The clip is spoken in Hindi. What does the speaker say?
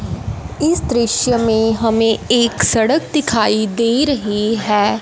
इस दृश्य में हमें एक सड़क दिखाई दे रही हैं।